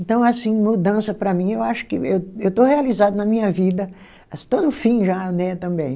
Então assim, mudança para mim, eu acho que eu eu estou realizado na minha vida, estou no fim já né também.